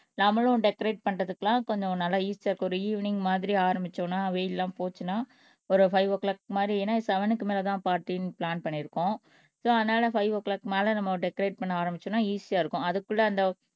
நம்மளும் டெகரேட் பண்றதுக்கெல்லாம் கொஞ்சம் நல்லா ஈசியா இருக்கும் ஒரு ஈவினிங் மாதிரி ஆரம்பிச்சோம்னா வெயில் எல்லாம் போச்சுன்னா ஒரு பைவ் ஓ கிளாக் மாதிரி ஏன்னா இது செவென்க்கு மேலதான் பார்ட்டின்னு பிளான் பண்ணியிருக்கோம் சோ அதனால பைவ் ஓ கிளாக் மேல நம்ம டெகரேட் பண்ண ஆரம்பிச்சோம்ன்னா ஈசியா இருக்கும் அதுக்குள்ள அந்த